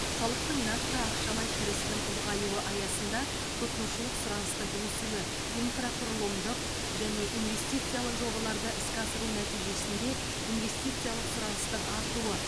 халықтың нақты ақшалай кірісінің ұлғаюы аясында тұтынушылық сұраныстың өсуі инфрақұрылымдық және инвестициялық жобаларды іске асыру нәтижесінде инвестициялық сұраныстың артуы